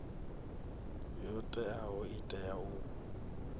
yo teaho i tea u